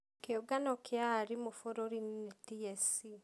Kĩũngano kia arimũ bũrũri-inĩ nĩ TSC.